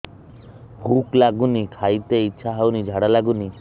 ଭୁକ ଲାଗୁନି ଖାଇତେ ଇଛା ହଉନି ଝାଡ଼ା ଲାଗୁନି